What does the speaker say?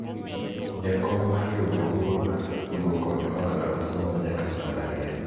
jakom mar riwruogwa mar kungo kod hola osomo nyaka mbalariany